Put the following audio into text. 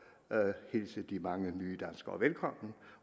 hilse de mange nye danskere velkommen